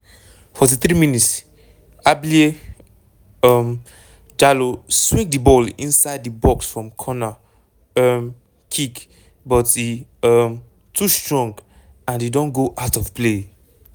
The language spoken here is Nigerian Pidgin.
43 mins- ablie um jallow swing di ball inside di box from corner um kick but e um too strong and e don go out of play.